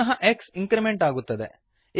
ಪುನಃ x increment ಆಗುತ್ತದೆ